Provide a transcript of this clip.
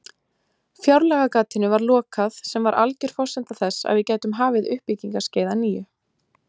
Fjárlagagatinu var lokað sem var alger forsenda þess að við gætum hafið uppbyggingarskeið að nýju.